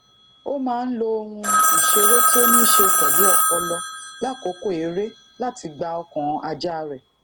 ó máa ń lo ohun ìṣeré tí o nise pelu opolo lakoko ere lati gba okan aja re